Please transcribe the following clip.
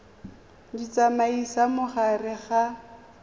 di tsamaisa mo gare ga